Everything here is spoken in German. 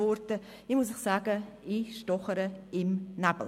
Ich muss Ihnen sagen, ich stochere im Nebel.